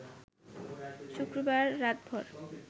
শুক্রবার রাতভর